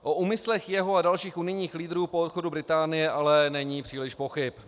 O úmyslech jeho a dalších unijních lídrů po odchodu Británie ale není příliš pochyb.